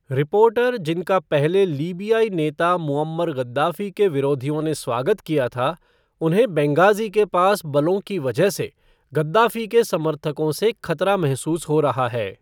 Reporter जिनका पहले लीबियाई नेता मुअम्मर गद्दाफ़ी के विरोधियों ने स्वागत किया था, उन्हें बेन्गाज़ी के पास बलों की वजह से गद्दाफ़ी के समर्थकों से ख़तरा महसूस हो रहा है।